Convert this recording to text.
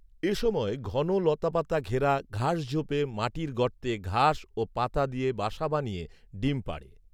এসময় ঘন লতাপাতা ঘেরা ঘাসঝোপে মাটির গর্তে ঘাস ও পাতা দিয়ে বাসা বানিয়ে ডিম পাড়ে